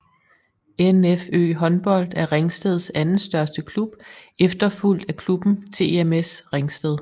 NFØ Håndbold er Ringsteds anden største klub efterfulgt af klubben TMS Ringsted